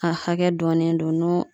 A hakɛ dɔnnen don n'o